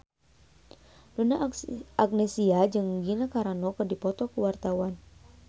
Donna Agnesia jeung Gina Carano keur dipoto ku wartawan